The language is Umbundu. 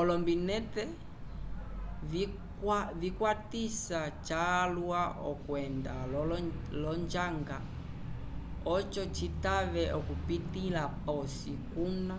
olombinete vikwatisa calwa okwenda l’onjanga oco citave okupitῖla posi kuna